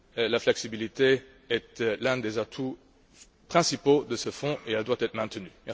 La flexibilité est l'un des atouts principaux de ce Fonds et elle doit être maintenue.